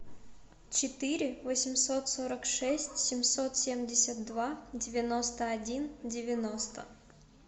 четыре восемьсот сорок шесть семьсот семьдесят два девяносто один девяносто